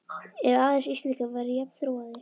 Ef aðeins Íslendingar væru jafn þróaðir!